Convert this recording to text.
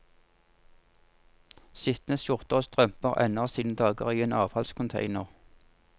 Skitne skjorter og strømper ender sine dager i en avfallscontainer.